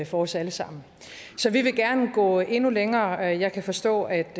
for os alle sammen så vi vil gerne gå endnu længere jeg kan forstå at